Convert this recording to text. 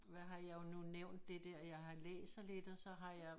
Hvad har jeg nu nævnt det dér jeg har læser lidt og så har jeg